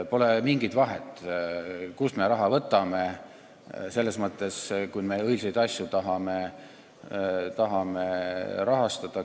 Pole mingit vahet, kust me raha võtame, kui me tahame õilsaid asju rahastada.